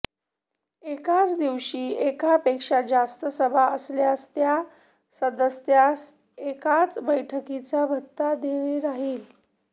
एकाच दिवशी एकापेक्षा जास्त सभा असल्यास त्या सदस्यास एकाच बैठकीचा भत्ता देय राहिल